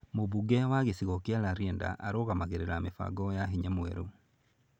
Mũmbunge wa gĩcigo kĩa Rarieda nĩ arũgamagĩrĩra mĩbango ya hinya mwerũ.